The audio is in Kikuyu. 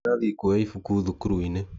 Ndĩrathie kuoya ibũkũ thukuruinĩ.